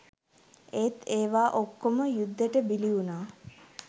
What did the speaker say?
ඒත් ඒවා ඔක්කොම යුද්දෙට බිලි වුණා.